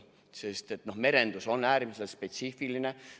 Sest merendus on äärmiselt spetsiifiline.